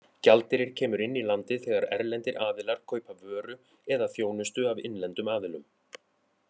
Gjaldeyrir kemur inn í landið þegar erlendir aðilar kaupa vöru eða þjónustu af innlendum aðilum.